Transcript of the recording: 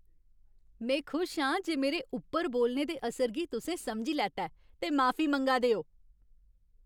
में खुश आं जे मेरे उप्पर बोलने दे असर गी तुसें समझी लैता ऐ ते माफी मंगा दे ओ।